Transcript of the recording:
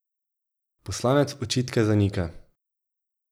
Poslanec očitke zanika.